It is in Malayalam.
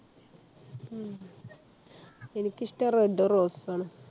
ഉം എനിക്കിഷ്ട്ടം Red ഉം Rose ഉ ആണ്